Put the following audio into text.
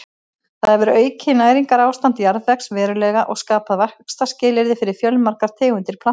Það hefur aukið næringarástand jarðvegs verulega og skapað vaxtarskilyrði fyrir fjölmargar tegundir plantna.